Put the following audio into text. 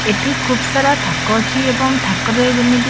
ଏଠି ଖୁବ୍ ସାରା ଥାକ ଅଛି ଏବଂ ଥାକରେ ଯେମିତି--